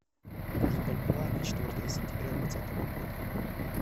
курс бальбоа на четвертое сентября двадцатого года